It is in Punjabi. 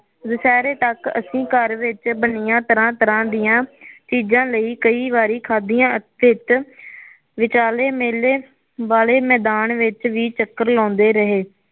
ਦੁਸਹੇਰੇ ਤੱਕ ਅਸੀ ਘਰ ਵਿਚ ਬਣਿਆ ਤਰਾ ਤਰਾ ਦੀਆ ਚੀਜਾ ਲਈ ਕਈ ਵਾਰੀ ਖਾਦਿਆ ਵਿਚ ਵਿਚਾਲੇ ਮੇਲੇ ਵਾਲੇ ਮੈਦਾਨ ਵਿਚ ਵੀ ਚੱਕਰ ਲਾਉਦੇ ਰਹੇ